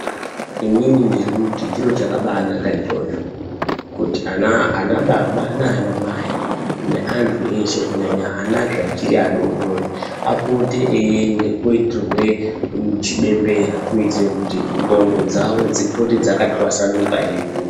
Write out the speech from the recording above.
Inini ndiri kuti chiro chakabanaka ichocho kuti ana baba nana mai nevantu eshe kunyana anazve achiri adodori apote eiende koitirwa chibembera kuitira kuti ndxondo dzavo dzipote dzakatwasanuka eikura.